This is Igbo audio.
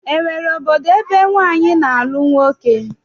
E nwere obodo ebe nwaanyị na-alụ nwoke?